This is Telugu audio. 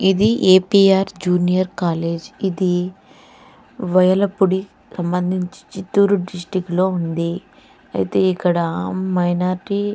ఇది ఏపిఆర్ జూనియర్ కాలేజీ ఇది వేళప్పుడు సంబంధించి చితూర్ డిస్ట్రిక్ట్ లో ఉంది అయితే ఇక్కడ మైనార్టీ --